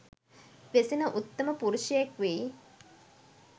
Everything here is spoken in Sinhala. වෙසෙන උත්තම පුරුෂයෙක් වෙයි.